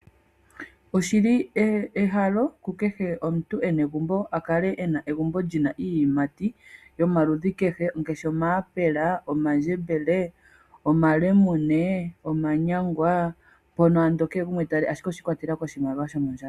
Oshi li ehalo ku kehe omuntu e na egumbo a kale e na egumbo lyina iiyimati yomaludhi kehe, ngeshi omaapela, omandjembele, omalemune, omanyangwa, mpono ando kee gumwe ta li, ashike oshii kwatelela koshimaliwa shomondjato.